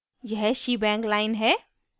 यह shebang line है